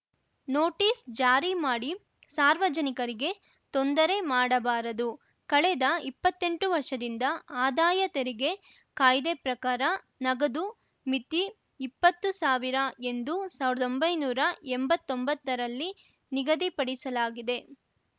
notice ಜಾರಿ ಮಾಡಿ ಸಾರ್ವಜನಿಕರಿಗೆ ತೊಂದರೆ ಮಾಡಬಾರದು ಕಳೆದ ಇಪ್ಪತ್ತೆಂಟು ವರ್ಷದಿಂದ ಆದಾಯ ತೆರಿಗೆ ಕಾಯ್ದೆ ಪ್ರಕಾರ ನಗದು ಮಿತಿ ಇಪ್ಪತ್ತು ಸಾವಿರ ಎಂದು ಸಾವಿರ್ದೊಂಬೈನೂರಾ ಎಂಬತ್ತೊಂಬತ್ತರಲ್ಲಿ ನಿಗದಿ ಪಡಿಸಲಾಗಿದೆ